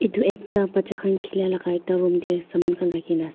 itu ekta bacha khan thiliya laka ekta room teh saman khan rakhina.